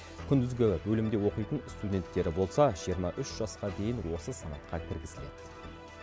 күндізгі бөлімде оқитын студенттері болса жиырма үш жасқа дейін осы санатқа кіргізіледі